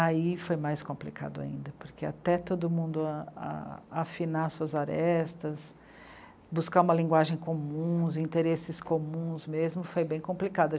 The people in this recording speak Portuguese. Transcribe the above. Aí foi mais complicado ainda, porque até todo mundo afinar suas arestas, buscar uma linguagem comum, os interesses comuns mesmo, foi bem complicado.